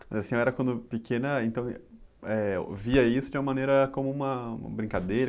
Mas a senhora, quando pequena, então, eh ouvia isso de uma maneira como uma , uma brincadeira?